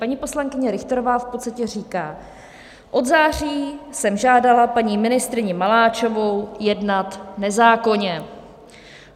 Paní poslankyně Richterová v podstatě říká: Od září jsem žádala paní ministryni Maláčovou jednat nezákonně.